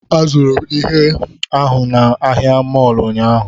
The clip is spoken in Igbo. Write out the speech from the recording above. Azụrụ m ihe ahụ na ahịa mọọlụ ụnyaahụ